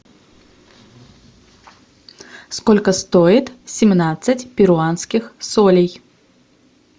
сколько стоит семнадцать перуанских солей